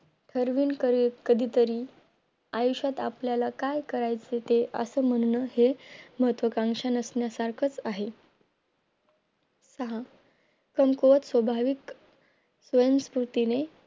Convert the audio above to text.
ठरवीन कधीतरी आयुष्यात आपल्याला काय करायचं ते असं म्हणन हे महत्वकांक्षा नसण्या सारखंच आहे अह पण तो एक स्वाभाविक स्वयं स्थितीने